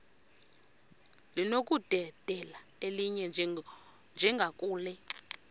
linokudedela elinye njengakule